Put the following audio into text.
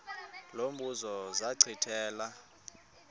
lo mbuzo zachithela